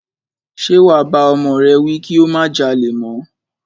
Ṣe wà bá ọmọ rẹ wí kí ó má jalè mọ́?